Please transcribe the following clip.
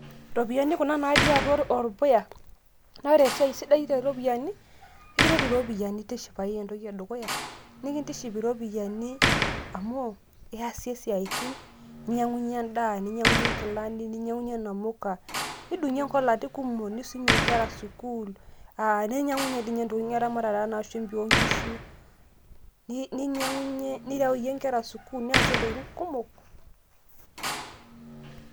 iropiyiani kuna natii orpuya, naa ore entoki sidai tooropiyiani, ekiret iropiyiani tishipayu entoki edukuya, nikintiship iropiyiani, amu iyasie isiatin, inyiang'unye edaa, ninyiang'unye nkilani, ninyiang'unye namuka, nidungie inkolati kumok. ninyiang'unye dii ninye, intokitin eramatare anaa shimpi oo nkishu, nireyie nkera sukuul, niasie intokitin kumok.